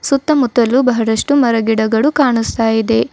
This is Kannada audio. ಸುತ್ತ ಮುತ್ತಲು ಬಹಳಷ್ಟು ಗಿಡ ಮರಗಳು ಕಾಣಸ್ತಾ ಇದೆ.